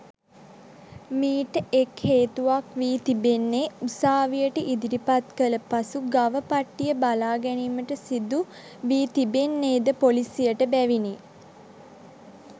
මීට එක් හේතුවක් වී තිබෙන්නේ උසාවියට ඉදිරිපත් කළ පසු ගව පට්ටිය බලා ගැනීමට සිදු වී තිබෙන්නේ ද පොලිසියට බැවිනි.